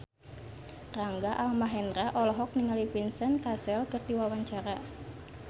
Rangga Almahendra olohok ningali Vincent Cassel keur diwawancara